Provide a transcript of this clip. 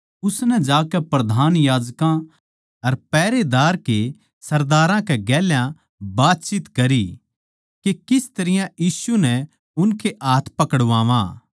उसनै जाकै प्रधान याजकां अर पहरेदार के सरदारां के गेल्या बातचीत करयी के किस तरियां यीशु नै उनके हाथ पकड़वांवां